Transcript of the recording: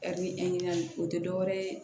o tɛ dɔwɛrɛ ye